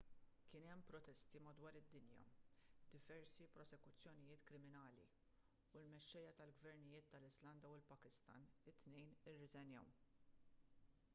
kien hemm protesti madwar id-dinja diversi prosekuzzjonijiet kriminali u l-mexxejja tal-gvernijiet tal-iżlanda u l-pakistan it-tnejn irriżenjaw